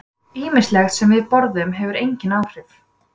Ýmislegt sem við borðum hefur einnig áhrif.